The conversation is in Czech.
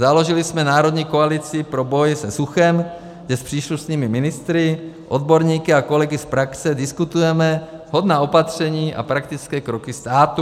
Založili jsme Národní koalici pro boj se suchem, kde s příslušnými ministry, odborníky a kolegy z praxe diskutujeme vhodná opatření a praktické kroky státu.